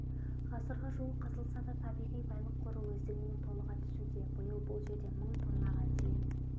ғасырға жуық қазылса да табиғи байлық қоры өздігінен толыға түсуде биыл бұл жерден мың тоннаға дейін